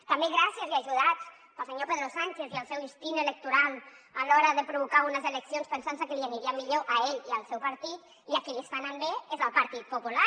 també gràcies i ajudats pel senyor pedro sánchez i el seu instint electoral a l’hora de provocar unes eleccions pensant se que li aniria millor a ell i al seu partit i a qui li està anant bé és al partit popular